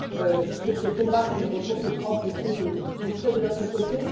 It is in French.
Dans ce combat sur les ressources propres, je sais que vous serez de notre côté